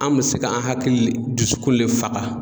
An me se k'an hakili le dusukun le faga